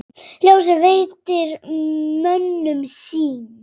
Ljósið veitir mönnum sýn.